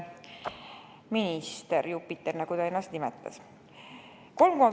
Minister, Jupiter, nagu ta ennast nimetas!